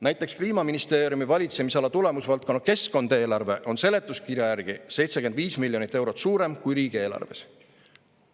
Näiteks Kliimaministeeriumi valitsemisala tulemusvaldkonna "Keskkond" eelarve on seletuskirja järgi 75 miljonit eurot suurem kui riigieelarves.